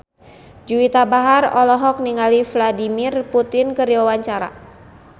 Juwita Bahar olohok ningali Vladimir Putin keur diwawancara